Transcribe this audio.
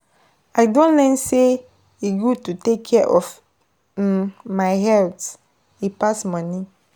I don learn sey e good to take care of um my health, e pass money.